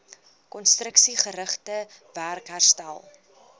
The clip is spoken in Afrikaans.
konstruksiegerigte werk herstel